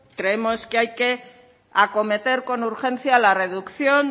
creemos que hay que acometer con urgencia la reducción